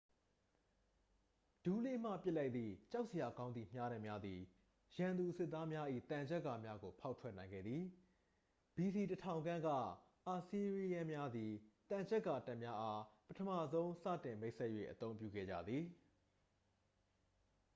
ဒူးလေးမှ ပစ်လိုက်သည့် ကြောက်စရာကောင်းသည့် မြားတံများသည် ရန်သူစစ်သားများ၏ သံချပ်ကာများကို ဖောက်ထွက်နိုင်ခဲ့သည် ဘီစီ 1000 ခန့်က အာစီးရီးယန်းများသည် သံချပ်ကာတပ်များအား ပထမဆုံးစတင် မိတ်ဆက်၍ အသုံးပြုခဲ့ကြသည်